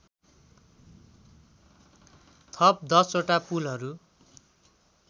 थप १० वटा पुलहरू